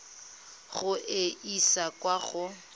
go e isa kwa go